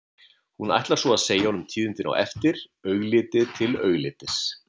Hún ætlar svo að segja honum tíðindin á eftir, augliti til auglitis.